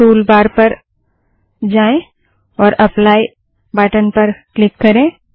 tool bar पर जाएँ और एप्लाई एप्ली बटन पर क्लिक करें